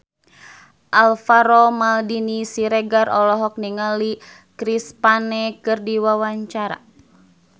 Alvaro Maldini Siregar olohok ningali Chris Pane keur diwawancara